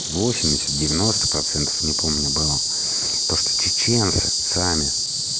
восемьдесят девяносто процентов не помню было то что чеченцы сами